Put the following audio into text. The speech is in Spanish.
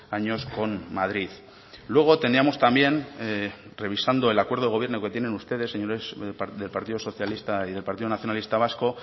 años con madrid luego teníamos también revisando el acuerdo de gobierno que tienen ustedes señores del partido socialista y del partido nacionalista vasco